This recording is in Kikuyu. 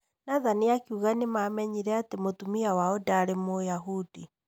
Nathan akiuga nĩ mamenyire atĩ mũtumia wao ndarĩ Mũyahudi.